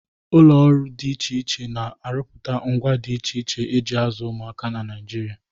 Ụlọ ọrụ dị iche iche na-arụpụta ngwá dị iche iche e ji azụ ụmụaka na Naịjirịa.